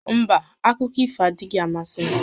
Mba, akụkọ ifo adịghị amasị m